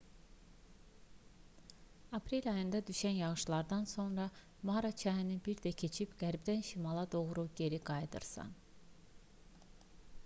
aprel ayında düşən yağışlardan sonra mara çayını bir də keçib qərbdən şimala doğru geri qayıdırsan